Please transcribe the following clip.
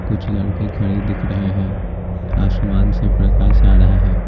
कुछ लड़के खड़े दिख रहे हैं आसमान से प्रकाश आ रहा है।